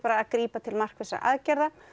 að grípa til markvissra aðgerða